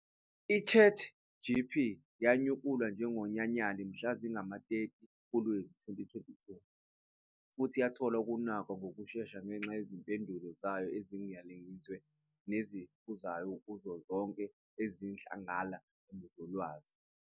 I-ChatGPT yanyakulwa njengonyanyali mhla zingama-30 kuLwezi 2022, futhi yathola ukunakwa ngokushesha ngenxa yezimpendulo zayo eziningiliziwe neziqephuzayo kuzo zonke izidlangala zolwazi.